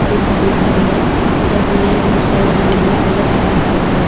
पड़ी हुई है उधर भी बहुत सारे रंग बिरंगे बल्फ भी लगे हुए--